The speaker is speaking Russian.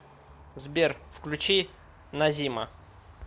сбер включи назима